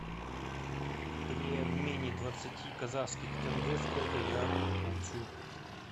при обмене двадцати казахских тенге сколько я получу